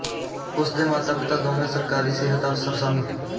ਉਸਦੇ ਮਾਤਾ ਪਿਤਾ ਦੋਵੇਂ ਸਰਕਾਰੀ ਸਿਹਤ ਅਫ਼ਸਰ ਸਨ